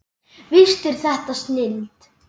Víst er þetta snilld.